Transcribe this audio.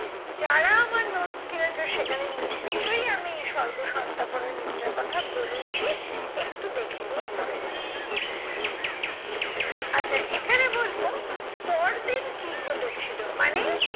যারা আমার notes কিনেছো সেখানে নিশ্চই আমি সর্বসন্তাপহর নিদ্রার কথা বলেছি একটু দেখে নিয়ে পরে নিও। আচ্ছা এখানে বলবো পরদিন কি ঘটেছিলো মানে